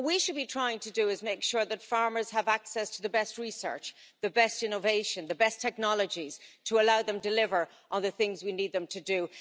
What we should be trying to do is make sure that farmers have access to the best research, the best innovation, and the best technologies to allow them to deliver on the things we need them to do.